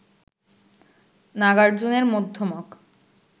নাগার্জুনের Madhyamaka